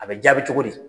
A bɛ jaabi cogo di